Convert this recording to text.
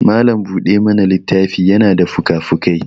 malam buɗe mana littafi yana da fukafukai